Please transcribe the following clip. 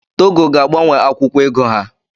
Togo ga-agbanwe akwụkwọ ego ha